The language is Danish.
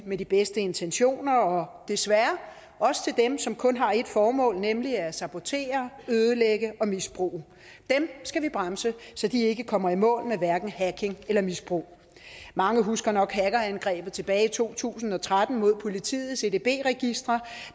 med de bedste intentioner og desværre også til dem som kun har ét formål nemlig at sabotere ødelægge og misbruge dem skal vi bremse så de ikke kommer i mål med hverken hacking eller misbrug mange husker nok hackerangrebet tilbage i to tusind og tretten mod politiets edb registre